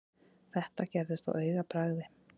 Þetta gerðist á augabragði.